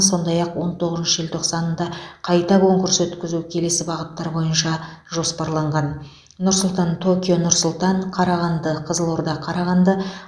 сондай ақ он тоғызыншы желтоқсанда қайта конкурс өткізу келесі бағыттар бойынша жоспарланған нұр сұлтан токио нұр сұлтан қарағанды қызылорда қарағанды